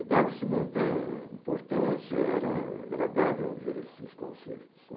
E dava-se muita importância, era agradável ouvir esses concertos.